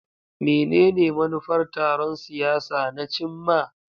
Menene manufar taron siyasa na cimma?